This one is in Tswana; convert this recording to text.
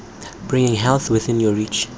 bringing health within your reach